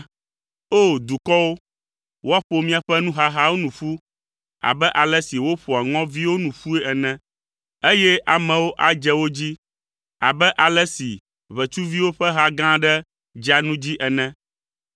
O! Dukɔwo, woaƒo miaƒe nuhahawo nu ƒu abe ale si woƒoa ŋɔviwo nu ƒue ene, eye amewo adze wo dzi abe ale si ʋetsuviwo ƒe ha gã aɖe dzea nu dzi ene.